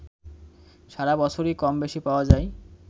সারা বছরই কমবেশি পাওয়া যায়